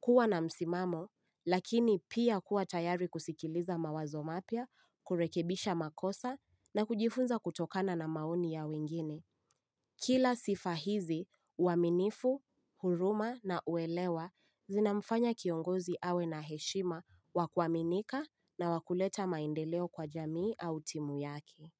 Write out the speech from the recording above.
Kuwa na msimamo, lakini pia kuwa tayari kusikiliza mawazo mapya, kurekebisha makosa na kujifunza kutokana na maoni ya wengine. Kila sifa hizi, uaminifu, huruma na uelewa zinamfanya kiongozi awe na heshima wakuaminika na wakuleta maendeleo kwa jamii au timu yake.